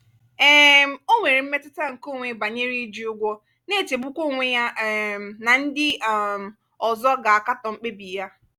um o nwere mmetụta nke onwe banyere iji ụgwọ na-echegbukwa onwe ya um na ndị um ọzọ ga-akatọ mkpebi ya.